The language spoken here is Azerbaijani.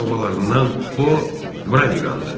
O, oğlu babalarımdan o Broniqandır.